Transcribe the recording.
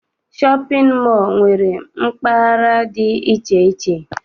Shọpịn mọọ nwere mpaghara dị iche iche.